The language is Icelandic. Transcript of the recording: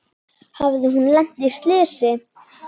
Hafði hún lent í slysi?